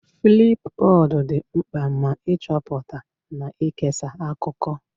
Flipbod dị mkpa maka ịchọpụta na ikesa akụkọ.